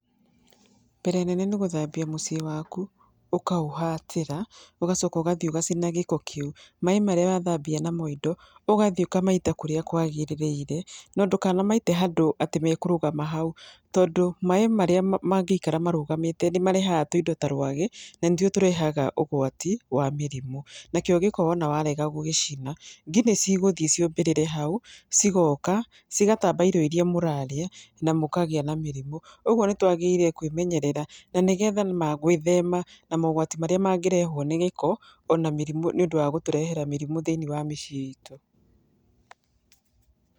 Mbere nene nĩ gũthambia mũciĩ waku, ũkaũhatĩra, ũgacoka ũgathiĩ ũgacina gĩko kĩu. Maĩ marĩa wathambia namo indo, ũgathi ũkamaita kũrĩa kwagĩrĩrĩire. No ndũkanamaite handũ atĩ mekũrũgama hau. Tondũ maĩ marĩa mangĩikara marũgamĩte, nĩ marehaga tuindo ta rwagĩ, na nĩ tuo tũrehaga ũgwati wa mĩrimu. Na kĩo gĩko wona warega gũgĩcina, ngi nĩ cigũthiĩ ciũmbĩrĩre hau, cigoka, cigatamba irio irĩa mũrarĩa, na mũkagĩa na mĩrimũ. Ũguo nĩ twagĩrĩire kwĩmenyerera, na nĩgetha ma gwĩthema na mogwati marĩa mangĩrehwo nĩ gĩko, ona mĩrimũ nĩ ũndũ wa gũtũrehera mĩrimũ thĩiniĩ wa mĩciĩ itũ.